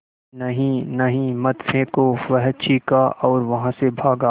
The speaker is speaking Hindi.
नहीं नहीं मत फेंको वह चीखा और वहाँ से भागा